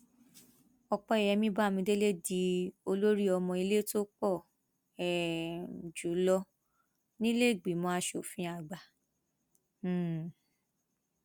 ọpẹyẹmí bámidélé di olórí ọmọ ilẹ tó pọ um jù lọ nílẹẹgbímọ asòfin àgbà um